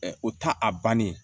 o ta a bannen